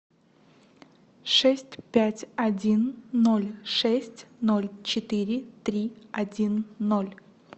шесть пять один ноль шесть ноль четыре три один ноль